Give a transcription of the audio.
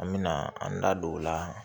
An mɛna an da don o la